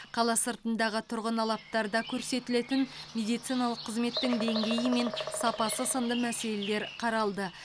қала сыртындағы тұрғын алаптарда көрсетілетін медициналық қызметтің деңгейі мен сапасы сынды мәселелер қаралды